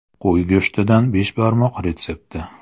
Qo‘y go‘shtidan beshbarmoq retsepti.